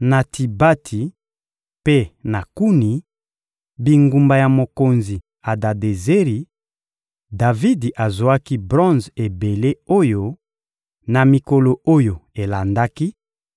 Na Tibati mpe na Kuni, bingumba ya mokonzi Adadezeri, Davidi azwaki bronze ebele oyo, na mikolo oyo elandaki,